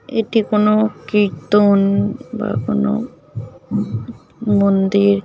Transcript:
এটি কোনো কীর্ত্তওওন .বা কোনোওও ম মন্দির।